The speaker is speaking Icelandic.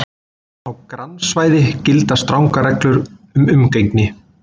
Á grannsvæði gilda strangar reglur um umgengni.